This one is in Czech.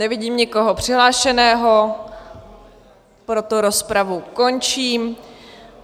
Nevidím nikoho přihlášeného, proto rozpravu končím.